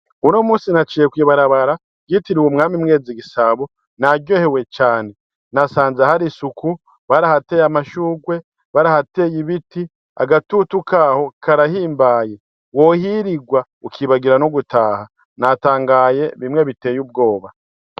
Uno munsi naciye kw'ibarabara ryitiriwe umwami Mwezi Gisabo naryohewe cane, nasanze hari isuku, barahateye amashurwe, barahateye ibiti, agatutu Kaho karahimbaye, wohirirwa ukibagira no gutaha, natangaye bimwe biteye ubwoba.